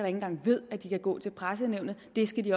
engang ved at de kan gå til pressenævnet det skal de